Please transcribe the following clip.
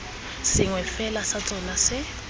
sengwe fela sa tsona se